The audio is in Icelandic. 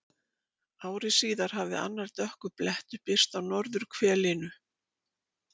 Ári síðar hafði annar dökkur blettur birst á norðurhvelinu.